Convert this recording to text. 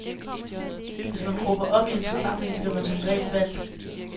Hvis man råber op i en forsamling, bliver man som regel valgt.